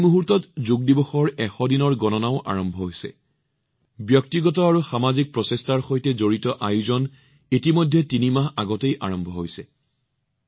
এই মুহূৰ্তত যোগ দিৱসক লৈ ১০০ দিনৰ গণনাও চলি আছে বা এইটো কব পাৰে যে ব্যক্তিগত আৰু সামাজিক প্ৰচেষ্টাৰ সৈতে সম্পৰ্কিত ঘটনাবোৰ ইতিমধ্যে তিনিমাহ পূৰ্বেই আৰম্ভ হৈছে